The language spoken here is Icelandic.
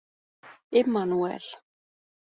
Immanúel